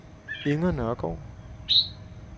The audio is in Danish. Inger Nørregaard